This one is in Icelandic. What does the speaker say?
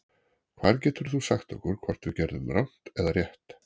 Hver getur þá sagt okkur hvort við gerðum rangt eða rétt?